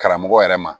Karamɔgɔ yɛrɛ ma